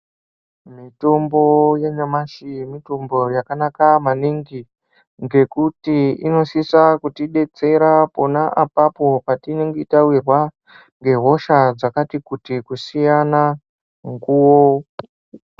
Mitombo yanyamashi mitombo yakanaka maningi ngekuti inosisa kutidetsera pona apapo patinenge tawirwa ngehosha dzakati kuti kusiyana mukuwo.